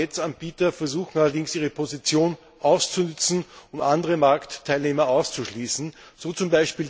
Manche Netzanbieter versuchen allerdings, ihre Position auszunutzen, um andere Marktteilnehmer auszuschließen, so z.